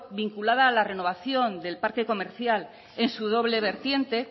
vinculada a la renovación del parque comercial en su doble vertiente